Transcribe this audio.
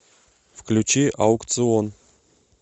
включи аукцыон